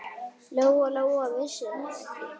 Lóa-Lóa vissi það ekki.